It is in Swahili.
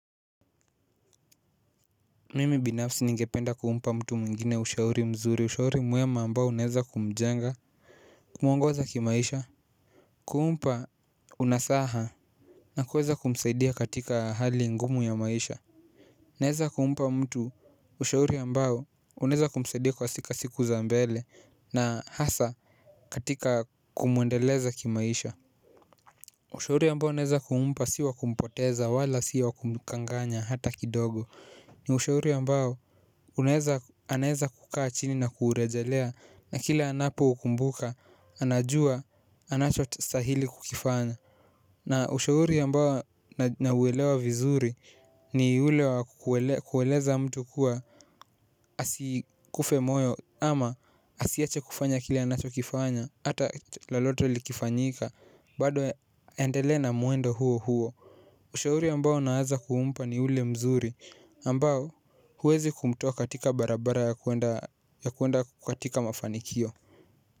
Mimi binafsi ningependa kumpa mtu mwingine ushauri mzuri ushauri mwema ambao unaweza kumjenga kumuongoza kimaisha. Kumpa unasaha na kuweza kumsaidia katika hali ngumu ya maisha. Naeza kumpa mtu ushauri ambao unaweza kumsaidia kwa siku za mbele na hasa katika kumuendeleza kimaisha. Ushauri ambao naeza kummpa sio wa kumpoteza wala si wa kumkanganya hata kidogo. Ni ushauri ambao unaeza anaeza kukaa chini na kuurejelea. Na kila anapoukumbuka anajua anachostahili kukifanya. Na ushauri ambao nauelewa vizuri ni ule wa kueleza mtu kuwa asikufe moyo. Ama asiache kufanya kile anachokifanya hata lolote likifanyika bado aendele na mwendo huo huo. Ushauri ambao naeza kumpa ni ule mzuri ambao huwezi kumtoa katika barabara ya kuenda katika mafanikio.